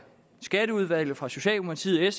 skatteudvalget fra socialdemokratiet